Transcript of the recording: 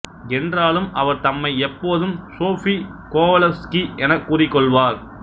என்றாலும் அவர் தம்மை எப்போதும் சோஃபீ கோவலவ்சுகி எனக் கூறிக்கொள்வார்